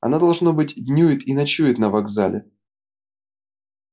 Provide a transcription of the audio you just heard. она должно быть днюет и ночует на вокзале